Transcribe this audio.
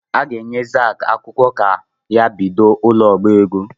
A ga-enye JAZ akwụkwọ ka ha bido ụ̣lọọbaego